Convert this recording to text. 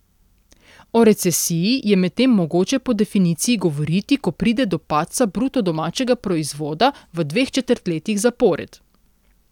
O recesiji je medtem mogoče po definiciji govoriti, ko pride do padca bruto domačega proizvoda v dveh četrtletjih zapored.